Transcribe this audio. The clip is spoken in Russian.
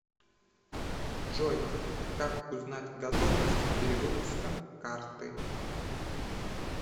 джой как узнать готовность перевыпуска карты